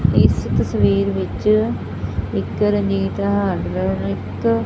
ਇਸ ਤਸਵੀਰ ਵਿੱਚ ਇੱਕ ਰੰਗੀਨ ਹਾਰਡ ਵਯਰ ਇੱਕ--